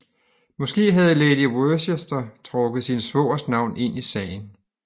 Måske havde lady Worcester trukket sin svogers navn ind i sagen